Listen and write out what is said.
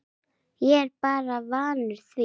Ég er bara vanur því